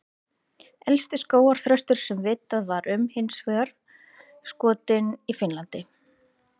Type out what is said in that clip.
Elsti skógarþröstur sem vitað er um var hins vegar skotinn í Finnlandi.